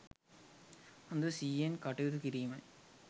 හොඳ සිහියෙන් කටයුතු කිරීමයි.